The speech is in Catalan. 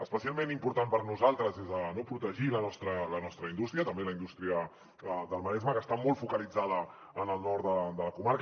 especialment important per nosaltres és protegir la nostra indústria també la indústria del maresme que està molt focalitzada en el nord de la comarca